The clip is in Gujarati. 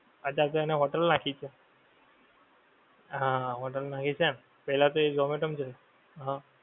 અત્યારે તો એણે હોટેલ નાંખી છે. હા હોટલ નાંખી તેમ પહેલા તો એ ઝોમેટો માં જતો હતો.